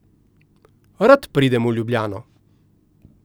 Rad pridem v Ljubljano.